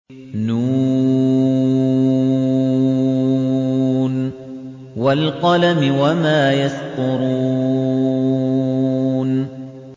ن ۚ وَالْقَلَمِ وَمَا يَسْطُرُونَ